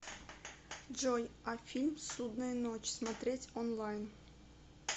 джой а фильм ссудная ночь смотреть онлайн